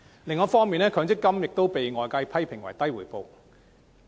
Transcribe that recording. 另一方面，強積金亦被外界批評回報偏低。